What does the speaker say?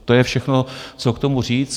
To je všechno, co k tomu říct.